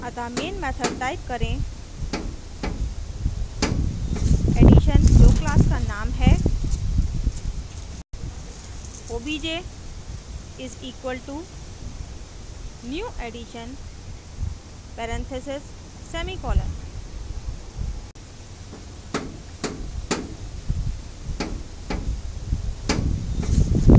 अतः main method में type करें addition जो class का name है obj is equalto new addition parentheses semicolon